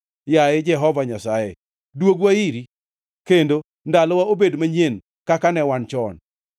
Yaye Jehova Nyasaye, dwogwa iri; kendo ndalowa obed manyien kaka ne wan chon.